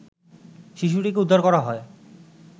শিশুটিকে উদ্ধার করা হয়